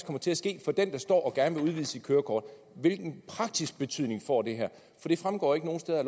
kommer til at ske for den der står og gerne vil udvide sit kørekort hvilken praktisk betydning får det her det fremgår ikke nogen steder